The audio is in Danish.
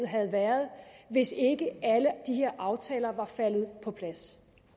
havde været hvis ikke alle de her aftaler var faldet på plads